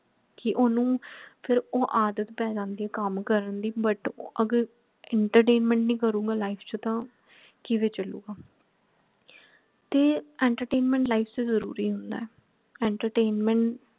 ਕਿ ਓਹਨੂੰ ਫੇਰ ਉਹ ਆਦਤ ਪੈ ਜਾਂਦੀ ਹੈ ਕੱਮ ਕਰਨਦੀ but ਅਗਰ entertainment ਨਹੀਂ ਕਰੂਗਾ life ਚ ਤਾਂ ਕਿਵੇਂ ਚਲੁਗਾ ਤੇ entertainment life ਚ ਜਰੂਰੀ ਹੁੰਦਾ ਹੈ entertainment